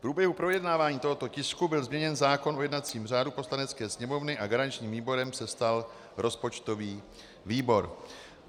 V průběhu projednávání tohoto tisku byl změněn zákon o jednacím řádu Poslanecké sněmovny a garančním výborem se stal rozpočtový výbor.